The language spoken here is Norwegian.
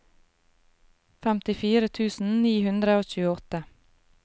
femtifire tusen ni hundre og tjueåtte